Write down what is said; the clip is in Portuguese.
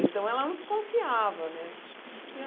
Então, ela não desconfiava, né?